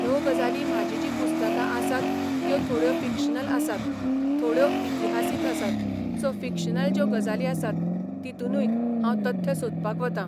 ह्यो गजाली म्हाजी जी पुस्तकां आसात त्यो थोड्यो फिक्शनल आसात थोड्यो इतिहासीक आसात सो फिक्शनल ज्यो गजाली आसात तितुनूय हांव तथ्य सोदपाक वतां.